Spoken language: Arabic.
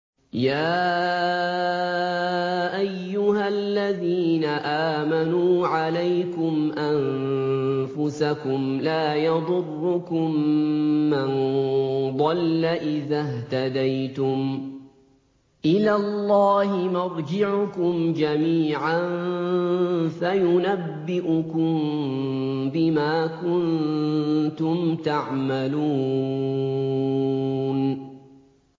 يَا أَيُّهَا الَّذِينَ آمَنُوا عَلَيْكُمْ أَنفُسَكُمْ ۖ لَا يَضُرُّكُم مَّن ضَلَّ إِذَا اهْتَدَيْتُمْ ۚ إِلَى اللَّهِ مَرْجِعُكُمْ جَمِيعًا فَيُنَبِّئُكُم بِمَا كُنتُمْ تَعْمَلُونَ